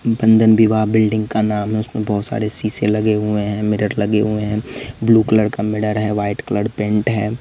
बंधन विवाह बिल्डिंग का नाम है उसमें बहोत सारे शीशे लगे हुए है मिरर लगे हुए है ब्लू कलर का मिरर है व्हाइट कलर पेंट है।